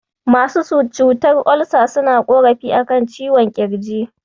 Masu cutar Olsa suna ƙorafi a kan ciwon ƙirji.